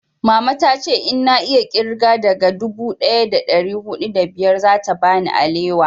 mama ta ce in na iya kirga daga dubu daya da dari hudu da biyar za ta bani alewa